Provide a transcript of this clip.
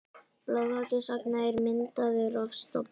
Boðháttur sagna er myndaður af stofni.